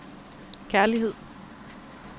kærlighed